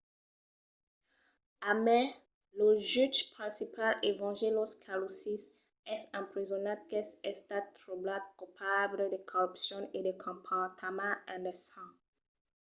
a mai lo jutge principal evangelos kalousis es empresonat qu'es estat trobat colpable de corrupcion e de comportament indecent